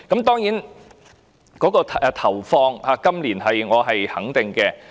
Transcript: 當然，對於今年的撥款，我是肯定的。